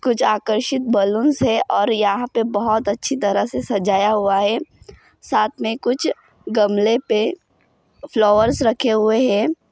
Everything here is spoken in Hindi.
कुछ आकर्षित बलून्स है और यहा पे बहुत अच्छी तरह से सजाया हुआ है साथ मे कुछ गमले पे फ्लावर्स रखे हुए है।